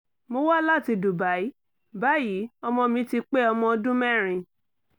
mo wá láti dubai báyìí ọmọ mi ti pé ọmọ ọdún mẹ́rin